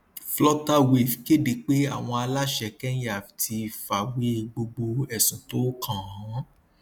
flutterwave kéde pé àwọn aláṣẹ kẹnyà ti fàwé gbogbo ẹsùn tó kànán